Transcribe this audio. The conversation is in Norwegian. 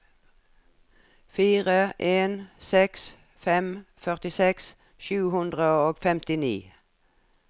fire en seks fem førtiseks sju hundre og femtini